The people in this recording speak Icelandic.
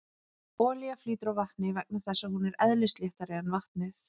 Olía flýtur á vatni vegna þess að hún er eðlisléttari en vatnið.